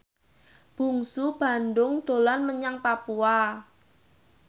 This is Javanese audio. Bungsu Bandung dolan menyang Papua